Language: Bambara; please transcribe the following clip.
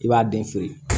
I b'a den feere